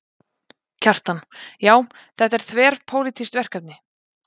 Kjartan: Já, þetta er þverpólitískt verkefni?